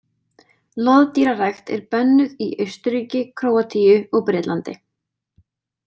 Loðdýrarækt er bönnuð í Austurríki, Króatíu og Bretlandi.